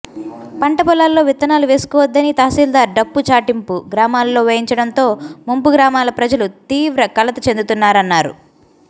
పంట పొలాల్లో విత్తనాలు వేసుకోవద్దని తహశీల్దార్ డప్పు చాటింపు గ్రామాల్లో వేయించడంతో ముంపు గ్రామాల ప్రజలు తీవ్ర కలత చెందుతున్నారన్నారు